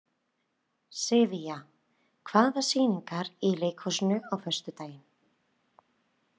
Sivía, hvaða sýningar eru í leikhúsinu á föstudaginn?